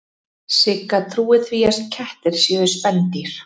Sigga trúir því að kettir séu spendýr.